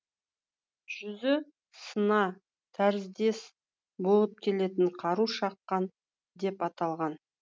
жүзі сына тәріздес болып келетін қару шақан деп аталған